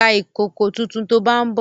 Ra ìkòkò tuntun to bá ń bọ̀!